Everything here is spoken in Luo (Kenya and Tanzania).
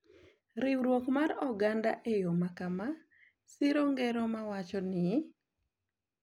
Riwruok mar oganda e yo makama siro ngero ma wacho ni